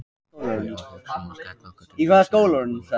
Við erum að hugsa um að skella okkur til Sviss í æfingabúðir.